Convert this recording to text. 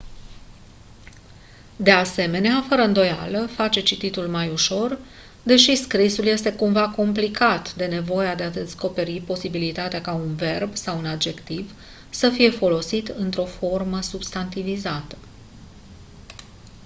de asemenea fără îndoială face cititul mai ușor deși scrisul este cumva complicat de nevoia de a descoperi posibilitatea ca un verb sau un adjectiv să fie folosit într-o formă substantivizată